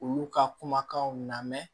Olu ka kumakanw lamɛn